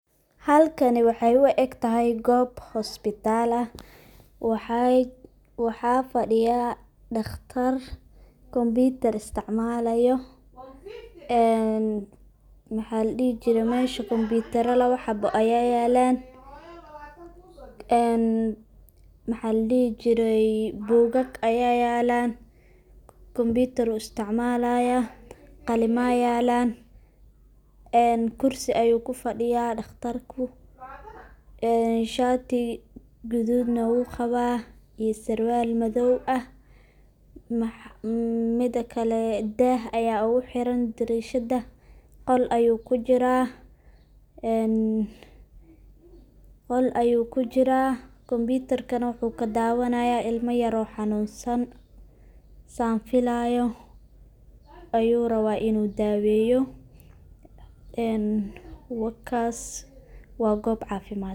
Halkani waxey u egtahay goob hospital ah waxa fadiya dhaqtar computer isticmalayo maxa ladihi jire mesha computaro laba haba ayaa yelan bugag ayaa yalan ,computer ayu isticmalaya ,qalima yalan ,kursi ayu ku fadiya dhaqtarku shaati gududna uu qawa iyo sarwal madow ah. Mida kale dah aya ugu xiran darishada ,qol ayu kujira computarkana wuxu kadawanaya ilmo yar oo xanunsan ,san filayo ayu rabaa inu daweyo ee wakas waa gob cafimad.